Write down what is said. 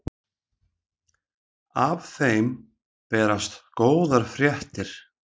Af þeim berast góðar fréttir.